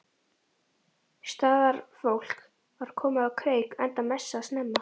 Staðarfólk var komið á kreik enda messað snemma.